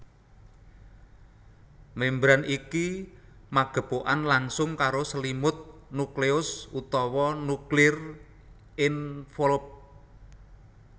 Membran iki magepokan langsung karo selimut nukleus utawa nuclear envelope